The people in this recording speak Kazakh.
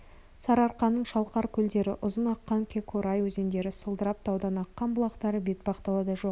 сарыарқаның шалқар көлдері ұзын аққан көкорай өзендері сылдырап таудан аққан бұлақтары бетпақ далада жоқ